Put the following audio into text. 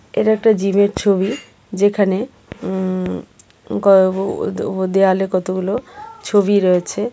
এটা একটা জীমের ছবি যেখানে উম গ আ ও দেওয়ালে কতগুলো ছবি রয়েছে.